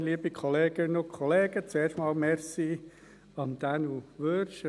Zuerst einmal: Besten Dank an Daniel Wyrsch.